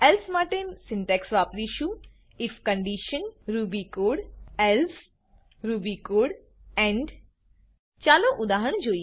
else માટે syntax વાપરીશું IF condition if condition Ruby code Ruby code else else Ruby code Ruby code end end ચાલો ઉદાહરણ જોઈએ